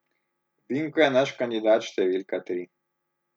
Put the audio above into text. Vinko je naš kandidat številka tri.